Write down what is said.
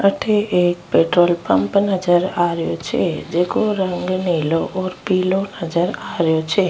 अठे एक petrol pump नजर आ रियो छे जेको रंग नीलो और पिलो नजर आ रियो छे।